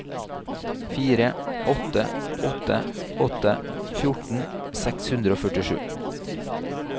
fire åtte åtte åtte fjorten seks hundre og førtisju